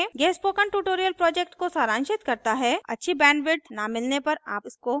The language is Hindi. यह spoken tutorial project को सारांशित करता है अच्छी bandwidth न मिलने पर आप इसको download करके देख सकते हैं